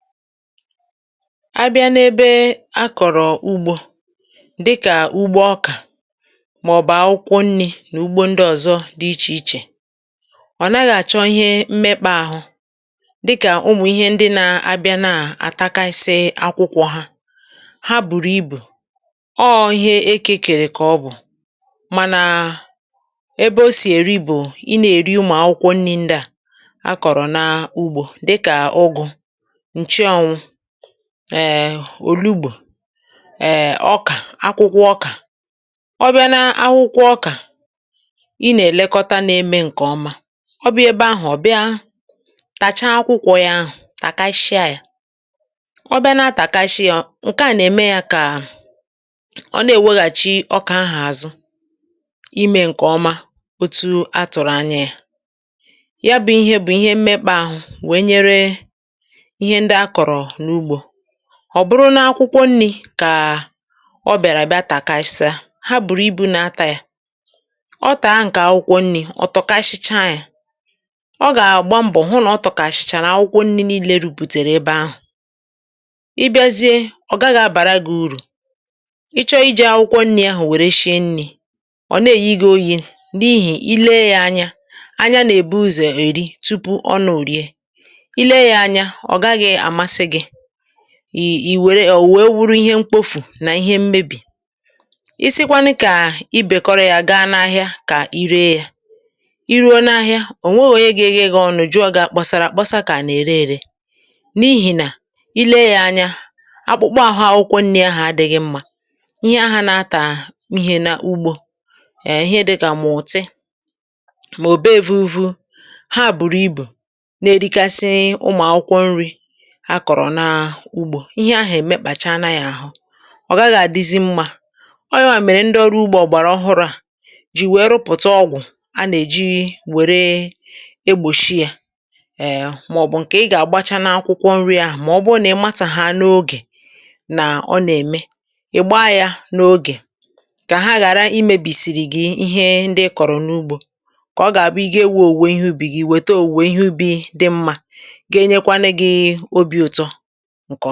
Bịa n’ebe a, ebe a na-akọ̀rọ̀ ihe oriri dịkà ọkà, akwụkwọ nri, màọ̀bụ nri a kwàdò, n’ime ugbo, na ihe ndị ọzọ dị iche iche. Ụdị ihe ndị a abụghị ihe na-eme mméghà àhụ dị ka ihe ize ndụ, kama ha bụ ihe eke ka a na-ebuga. N’ihi na ì bụ onye na-èrí ihe oriri ahụ, ọ bụ akwụkwọ nri, ọ bụ ọkà, ị ga-azụlite ya nke ọma ma mee ka ọ baa uru. Ihe a bụ isi: ọ bụrụ na nwa akwụkwọ mechàrà nri ya n’ụzọ na-adịghị mma, um ọ̀ wèrè were ghọọ n’efu, omume ahụ na-emebi nri ahụ ma mee ka ọ ghara ịdị mkpa. Ọ bụrụ na ị ṅụ̀rịá ya ghọọ n’efu, ị gà-efu ohere iri uru ya. Kama iji nri ahụ nke ọma maka iri gị, ị na-ahapụ ya ka ọ bụrụ̀ nkpofu ma ọ bụ mebie, nke na-ebute imebi na mmejọ. Ọ bụrụ na ị chịkọtà ya wee were ya gaa ahịa, ò nweghị onye ga-ajụ gị, ò nweghị onye ga-eguzogide gị. Ma ọ bụrụ na i jiri ya n’ụzọ na-adịghị mma, nri ahụ ga-adịrịghị mma anya, ma mgbe a na-ebuga ya n’ugbo, ọ gà-ada ka ihe mkpofù ma ọ bụ nsị anụ. Omume ahụ na-emebi uru ya ma mee ka ọ ghara ịdị mma ọzọ. Nke a bụ n’ihi ya ka ndị ọrụ ọhụrụ nke na-elekọta ihe oriri mepụtara ọgwụ̀ iji chekwaa ya, ma ọ bụ ụzọ ndị ọzọ iji chebe nri ahụ. Ọ bụrụ na ị matà oge na ọ na-amalite imebi, ị ga-echekwa ya ngwa ngwa ka ọ ghara imerụ ahụ gị. Ihe oriri ndị a kpọrọ n’ugbo bụ̀ maka ị na iji rụọ ọrụ ọma, ya mere ị ga-eburu ha nlekọta gaa ubi gị wee were ya kụọ ihe ubi dị mma n’azụ.